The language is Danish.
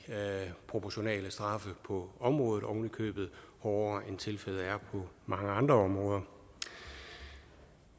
proportionale straffe på området og ovenikøbet hårdere straffe end tilfældet er på mange andre områder